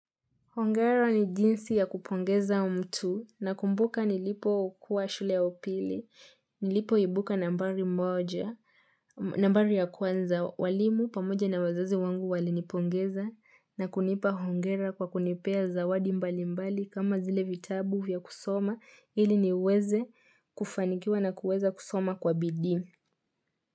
Hongera ni jinsi ya kupongeza mtu nakumbuka nilipo kuwa shule ya upili, nilipoibuka nambari moja, nambari ya kwanza walimu pamoja na wazazi wangu walinipongeza na kunipa Hongera kwa kunipea zawadi mbali mbali kama zile vitabu vya kusoma ili niweze kufanikiwa na kueza kusoma kwa bidii.